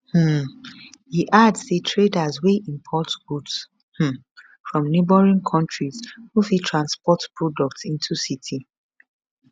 um e add say traders wey import goods um from neighbouring countries no fit transport products into city